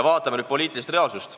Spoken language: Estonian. Vaatame nüüd poliitilist reaalsust.